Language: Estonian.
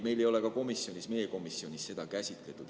Meie komisjonis ei ole seda eraldi käsitletud.